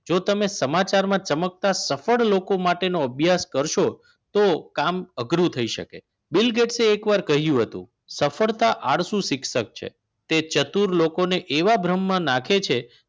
જો તમે સમાચારમાં ચમકતા સફળ લોકો માટે અભ્યાસ કરશો તો કામ અઘરું થઈ શકે છે એકવાર કહ્યું હતું સફળતા આળસુ શિક્ષક છે કે તે ચતુર લોકોને એવા ભ્રમમાં નાખે છે